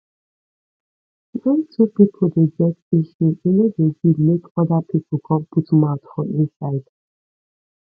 wen two pipo dey get issue e no dey good make oda pipo come put mouth for inside